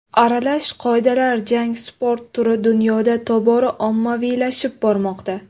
Aralash qoidalar jangi sport turi dunyoda tobora ommaviylashib bormoqda.